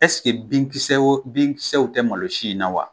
binkisɛ wo binkisɛw tɛ malo si in na wa ?